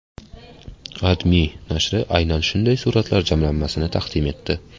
AdMe nashri aynan shunday suratlar jamlanmasini taqdim etdi .